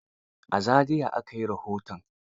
A Zariya aka yi rahoton.